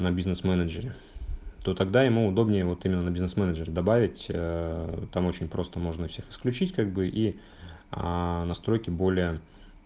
на бизнес-менеджере то тогда ему удобнее вот именно на бизнес-менеджере добавить ээ там очень просто нужно всех исключить как бы и аа настройки более